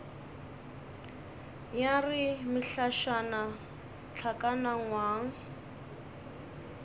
ya re mehlašana hlakana ngwang